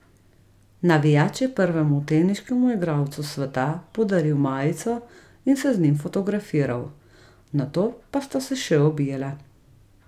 Navijač je prvemu teniškemu igralcu sveta podaril majico in se z njim fotografiral, nato pa sta se še objela.